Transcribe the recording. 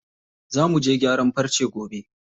Za muje gyaran farce gobe.